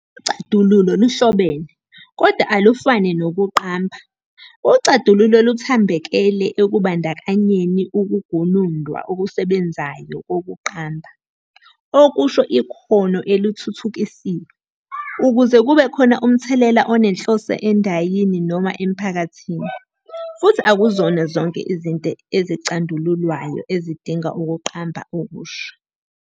Ucandululo luhlobene, kodwa alufane nokuqamba- ucandululo luthambekele ekubandakanyeni ukugunundwa okusebenzayo kokuqamba, okusho. ikhono elithuthukisiwe, ukuze kube khona umthelela onenhloso endayini noma emphakathini, futhi akuzona zonke izinto ezicandululwayo ezidinga ukuqamba okusha.